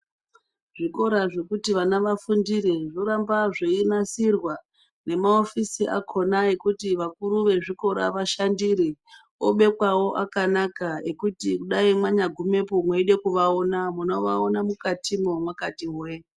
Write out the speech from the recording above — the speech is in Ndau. Zvikora zvekuti vana vafundire zvoramba zveinasirwa nemahofisi akona ekuti vakuru vezvikora vashandire obekwawo akanaka ekuti kudai mwanyagumepo mweide kuvaona munovaona mukatimwo mwakati hwe.